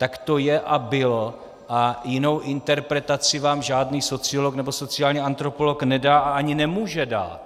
Tak to je a bylo a jinou interpretaci vám žádný sociolog nebo sociální antropolog nedá a ani nemůže dát.